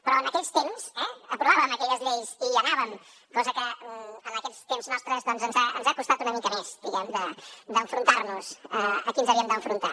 però en aquells temps aprovàvem aquelles lleis i hi anàvem cosa que en aquests temps nostres ens ha costat una mica més diguem ne d’enfrontar nos a qui ens havíem d’enfrontar